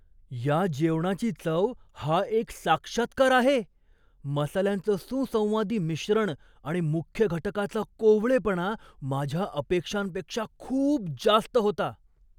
या जेवणाची चव हा एक साक्षात्कार आहे, मसाल्यांचं सुसंवादी मिश्रण आणि मुख्य घटकाचा कोवळेपणा माझ्या अपेक्षांपेक्षा खूप जास्त होता.